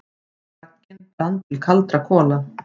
Bragginn brann til kaldra kola.